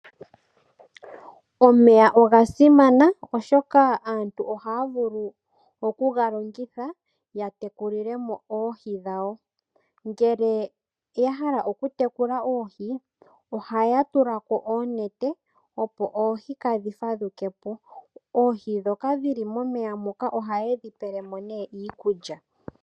Omeya oga simana oshoka aantu ohaya vulu okuga longitha yatekulile mo oohi dhawo .Ngele ya hala oku tekula oohi ohaya tula ko oonete opo oohi kadhi fadhuke po .Oohi dhoka dhili momeya moka ohaye dhi pele mo nee iikulya.